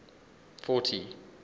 fourty